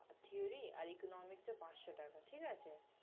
theory আর economics টা পাঁচশ টাকা, ঠিক আছে?